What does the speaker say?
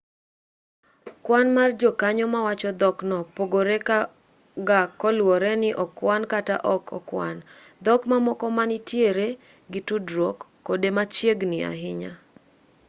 kwan mar jokanyo mawacho dhokno pogore ga kaluwore ni okwan kata ok okwan dhok mamoko ma nitiere gi tudruok kode machiegni ahinya